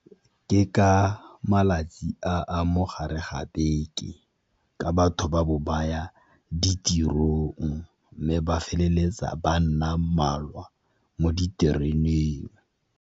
Ke ka malatsi a a mogare ga beke ka batho ba bo baya ditirong, mme ba feleletsa ba nna mmalwa mo ditereneng.